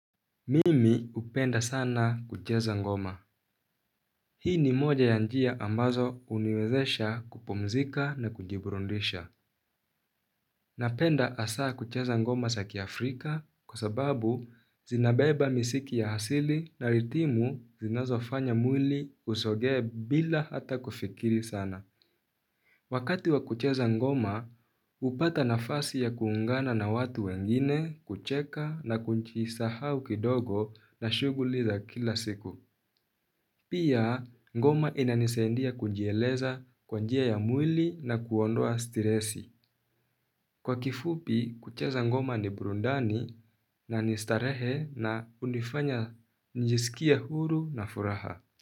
Mimi hupenda sana kucheza ngoma. Hii ni moja ya njia ambazo huniwezesha kupumzika na kujiburudisha. Napenda hasaa kucheza ngoma za kiafrika kwa sababu zinabeba misiki ya asili na ritimu zinazofanya mwili usogee bila hata kufikiri sana. Wakati wa kucheza ngoma hupata nafasi ya kuungana na watu wengine kucheka na kujisahau kidogo na shughuli za kila siku. Pia, ngoma inanisaidia kujieleza kwa njia ya mwili na kuondoa stiresi. Kwa kifupi, kucheza ngoma ni burudani na ni starehe na hunifanya nijisikie huru na furaha.